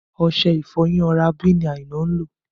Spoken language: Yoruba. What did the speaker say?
Ọṣẹ ìfọyín Oral B ni Aina ń lò